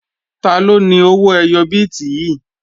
Taló ni owó ẹyọ bíìtì yìí?